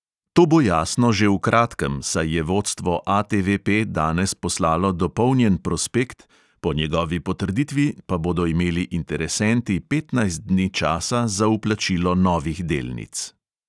To bo jasno že v kratkem, saj je vodstvo ATVP danes poslalo dopolnjen prospekt, po njegovi potrditvi pa bodo imeli interesenti petnajst dni časa za vplačilo novih delnic.